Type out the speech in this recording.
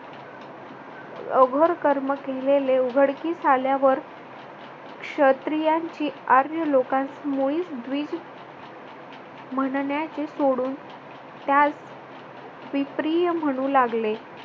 अघोर कर्म केलेले उघडकीस आल्यावर क्षत्रियांची आर्य लोकांस मुलीस द्वि म्हणण्याचे सोडून त्यास विप्रिय म्हणू लागले.